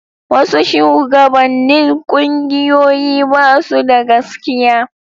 Wasu shugabannin ƙungiyoyi ba su da gaskiya.